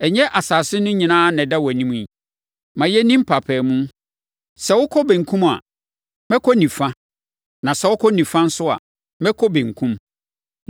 Ɛnyɛ asase no nyinaa na ɛda wʼanim yi? Ma yɛnni mpaapaemu. Sɛ wokɔ benkum a, mɛkɔ nifa, na sɛ wokɔ nifa nso a, mɛkɔ benkum.”